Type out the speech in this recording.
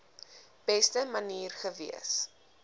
beste manier gewees